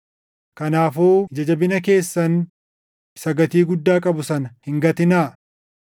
Kanaafuu ija jabina keessan isa gatii guddaa qabu sana hin gatinaa.